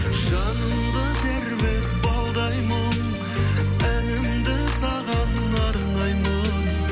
жанымды тербеп балдай мұң әнімді саған арнаймын